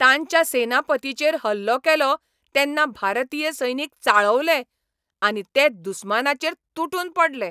तांच्या सेनापतीचेर हल्लो केलो तेन्ना भारतीय सैनीक चाळवले, आनी ते दुस्मानाचेर तुटून पडले.